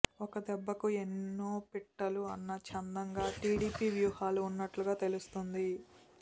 ఒక్క దెబ్బకు ఎన్నో పిట్టలు అన్న చందంగా టీడీపీ వ్యూహాలు ఉన్నట్లుగా తెలుస్తోంది